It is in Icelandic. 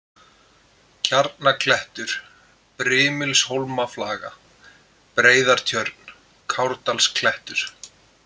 Kjarnaklettur, Brimilshólmaflaga, Breiðartjörn, Kárdalsklettur